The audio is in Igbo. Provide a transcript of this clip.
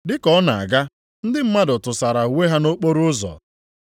Dị ka ọ na-aga, ndị mmadụ tụsara uwe ha nʼokporoụzọ.